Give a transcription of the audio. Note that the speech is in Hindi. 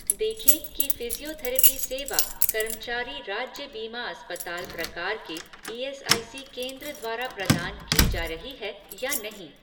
देखें कि फिज़ियोथेरपी सेवा कर्मचारी राज्य बीमा अस्पताल प्रकार के ईएसआईसी केंद्र द्वारा प्रदान की जा रही है या नहीं